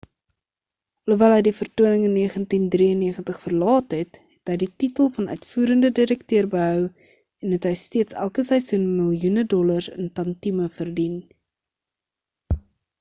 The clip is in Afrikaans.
alhoewel hy die vertoning in 1993 verlaat het het hy die titel van uitvoerende direkteur behou en het hy steeds elke seisoen miljoene dollars in tantieme verdien